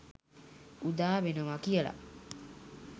උදා වෙනවා කියලා.